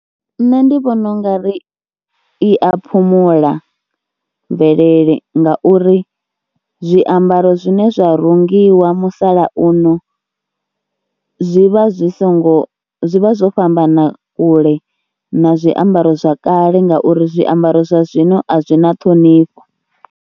Nṋe ndi vhona u nga ri i a phumula mvelele ngauri zwiambaro zwine zwa rungiwa musalauno zwi vha zwi songo, zwi vha zwo fhambana kule na zwiambaro zwa kale ngauri zwiambaro zwa zwino a zwi na ṱhonifho.